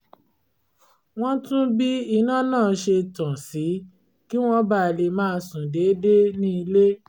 wọ́n tún bí iná náà ṣe tàn sí kí wọ́n ba lè máa sùn déédéé ní ilé